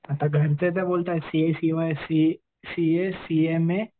आता घरचे तर बोलतात सीए सीए, सीएमए